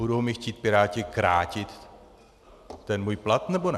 Budou mi chtít piráti krátit ten můj plat, nebo ne?